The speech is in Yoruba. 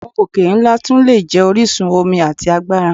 Awọn oke-nla tun le jẹ orisun omi ati agbara.